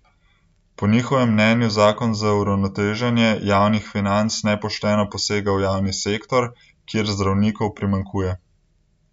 Po njihovem mnenju zakon za uravnoteženje javnih financ nepošteno posega v javni sektor, kjer zdravnikov primanjkuje.